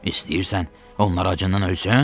İstəyirsən, onlar acından ölsün?